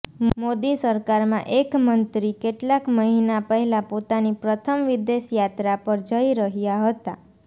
મોદી સરકારમાં એક મંત્રી કેટલાક મહિના પહેલા પોતાની પ્રથમ વિદેશ યાત્રા પર જઈ રહ્યા હતા